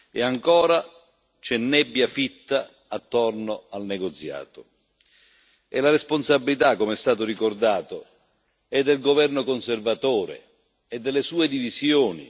E ancora c'è nebbia fitta attorno al negoziato e la responsabilità come è stato ricordato è del governo conservatore e delle sue divisioni.